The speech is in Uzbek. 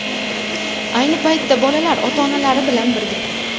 Ayni paytda bolalar ota-onalari bilan birga.